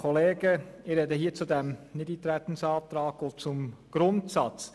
Ich spreche zum Nichteintretensantrag und zum Grundsatz.